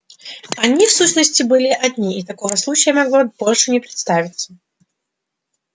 они в сущности были одни и такого случая могло больше не представиться